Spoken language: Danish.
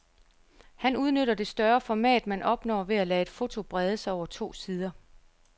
Han udnytter det større format man opnår ved at lade et foto brede sig over to sider.